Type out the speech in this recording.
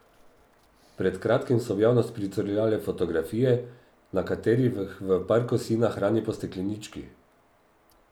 Pred kratkim so v javnost pricurljale fotografije, na katerih v parku sina hrani po steklenički.